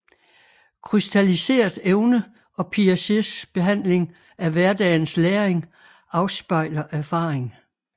Krystalliseret evne og Piagets behandling af hverdagens læring afspejler erfaring